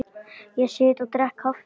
Ég sit og drekk kaffi.